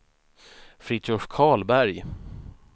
Fritiof Karlberg